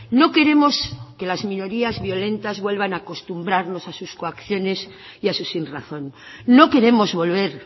no queremos que las minorías violentas vuelvan a acostumbrarnos a sus coacciones y a su sinrazón no queremos volver